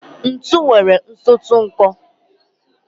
ntu nwere nsọtụ nkọ